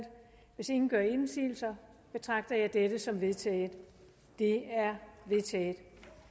hvis ingen gør indsigelse betragter jeg dette som vedtaget det er vedtaget